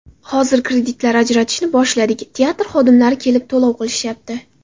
Hozir kreditlar ajratishni boshladik, teatr xodimlari kelib to‘lov qilishyapti.